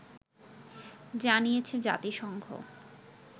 জানিয়েছে জাতিসংঘ